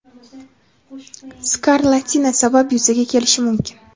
skarlatina sabab yuzaga kelishi mumkin.